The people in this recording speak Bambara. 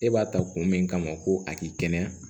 E b'a ta kun min kama ko a k'i kɛnɛya